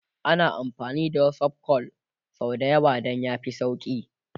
ana amfani da WhatsApp call sau da yawa Dan ya fi sauki